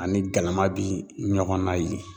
Ani galama bi ɲɔgɔnna yen.